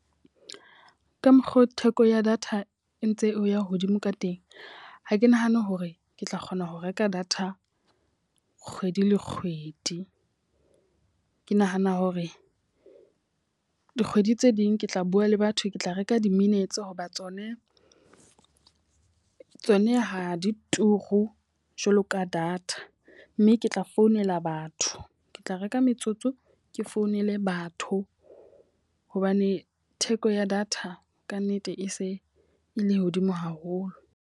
Ka mokgo theko ya data e ntse e ya hodimo ka teng. Ha ke nahane hore ke tla kgona ho reka data kgwedi le kgwedi. Ke nahana hore dikgwedi tse ding ke tla bua le batho, ke tla reka di-minutes hoba tsone tsona ha di turu jwalo ka data, mme ke tla ho founela batho. Ke tla reka metsotso ke founele batho. Hobane theko ya data ka nnete e se e le hodimo haholo.